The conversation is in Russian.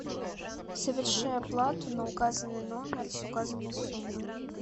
соверши оплату на указанный номер с указанной суммой